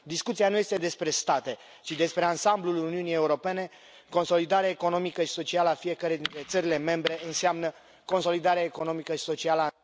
Discuția nu este despre state, ci despre ansamblul Uniunii Europene, consolidarea economică și socială a fiecăreia dintre țările membre înseamnă consolidarea economică și socială a...